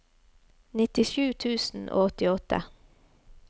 nittisju tusen og åttiåtte